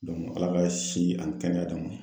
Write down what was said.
Ala ka si ani kɛnɛya d'an ma!